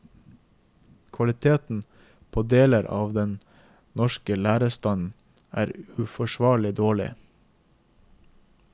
Kvaliteten på deler av den norske lærerstanden er uforsvarlig dårlig.